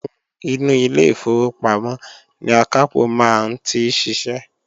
Inú ilé ìfowópamọ́ ni akápò maa n ti sise